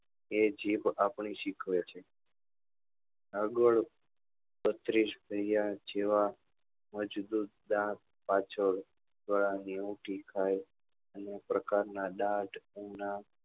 એ જીભ આપને શીખવે છે આગળ બત્રીસ જેવા મજબુત દાંત પાછળ ગાળા ની ઉનથી ખાલ અમુક પ્રકાર નાં દાંત ઉના